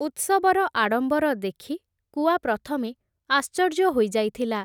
ଉତ୍ସବର ଆଡ଼ମ୍ବର ଦେଖି, କୁଆ ପ୍ରଥମେ ଆଶ୍ଚର୍ଯ୍ୟ ହୋଇଯାଇଥିଲା ।